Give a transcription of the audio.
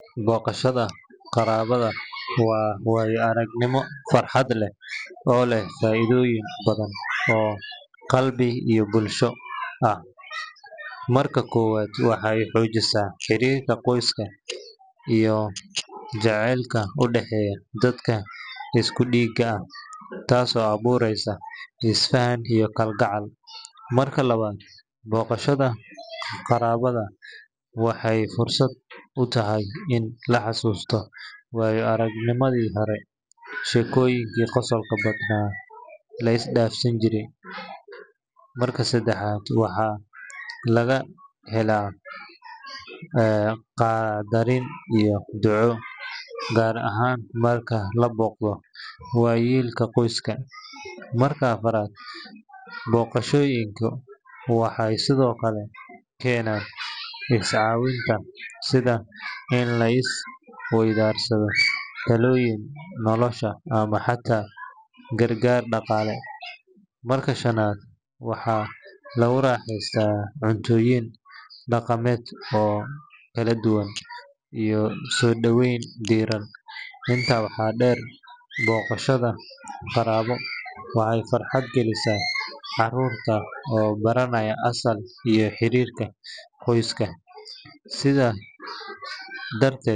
Booqashada qaraabada waa waayo-aragnimo farxad leh oo leh faa’iidooyin badan oo qalbi iyo bulsho ah. Marka koowaad, waxay xoojisaa xiriirka qoyska iyo jacaylka u dhexeeya dadka isku dhiigga ah, taasoo abuureysa isfahan iyo kalgacal. Marka labaad, booqashada qaraabo waxay fursad u tahay in la xasuusto waayo-aragnimadii hore, sheekooyin qosol badanna la is dhaafsado. Marka saddexaad, waxaa laga helaa qadarin iyo duco, gaar ahaan marka la booqdo waayeelka qoyska. Marka afraad, booqashooyinku waxay sidoo kale keenaan is-caawinta, sida in la is waydaarsado talooyin nolosha ama xataa gargaar dhaqaale. Marka shanaad, waxaa lagu raaxaystaa cunnooyin dhaqameed oo kala duwan iyo soo dhoweyn diirran. Intaa waxaa dheer, booqashada qaraabo waxay farxad galisaa carruurta oo baranaya asal iyo xiriirka qoyska. Sidaas darteed.